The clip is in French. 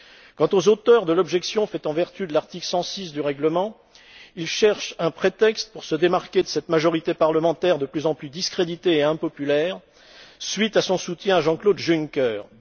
Quant aux auteurs de l'objection faite en vertu de l'article 106 du règlement, ils cherchent un prétexte pour se démarquer de cette majorité parlementaire de plus en plus discréditée et impopulaire, à la suite du soutien qu'elle apporté à Jean Claude Juncker.